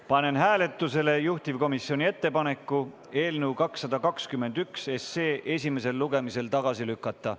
Panen hääletusele juhtivkomisjoni ettepaneku eelnõu 221 esimesel lugemisel tagasi lükata.